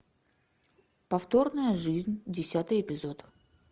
повторная жизнь десятый эпизод